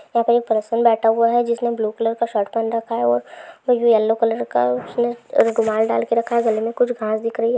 हाय पे एक पर्सन बेथ हुआ हे जिसने ब्लू कलर का सर्ट पहन रखा हे यलो कलर का रुमाल दल के रखा हे गले ए कुछ घास दिखरि है।